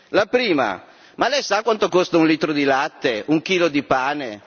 La prima ma lei sa quanto costa un litro di latte? Un chilo di pane?